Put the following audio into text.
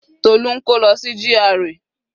Tola ń kó lọ sí GRA.